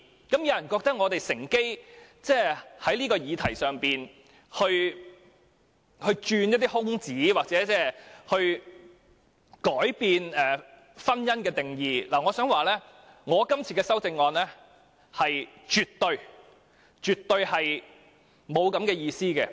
有人認為我們故意在這項議題上鑽空子，意圖改變婚姻的定義，但我想指出，我今天這項修正案絕對沒有此意圖。